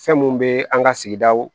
Fɛn mun be an ga sigidaw